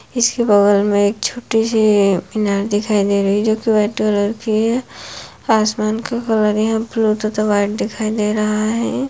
इसके बगल में एक छोटी सी मीनार दिखाई दे रही है जो कि वाइट कलर की है आसमान का कलर यहाँ ब्लू तथा वाइट दिखाई दे रहा है।